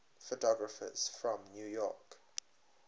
photographers from new york